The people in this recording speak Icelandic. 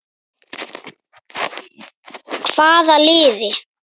Hvaða liði?